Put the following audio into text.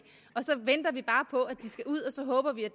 og så venter vi bare på at de skal ud og så håber vi